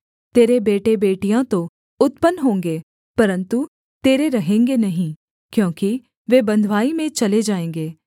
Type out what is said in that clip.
तेरे बेटेबेटियाँ तो उत्पन्न होंगे परन्तु तेरे रहेंगे नहीं क्योंकि वे बन्धुवाई में चले जाएँगे